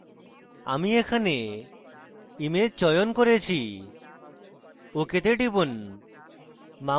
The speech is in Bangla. আমি এখানে image চয়ন করেছি ok তে টিপুন